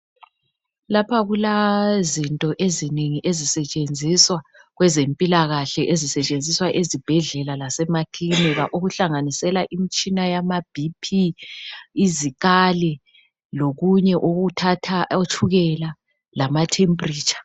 Lapha kula zinto ezinengi ezisetshenziswa kwezempilakahle, ezisetshenziswa ezibhedlela lasemaklinika okuhlanganisela imtshina yamaBP izikali lokunye okuthatha otshukela lama temperature.